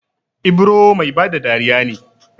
Ibro Mai bada dariya ne